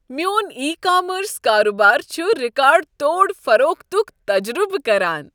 میون e-commerce کارٕبار چھ ریکارڈ توڑ فروختٗک تجربہٕ کران۔